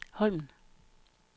Holmen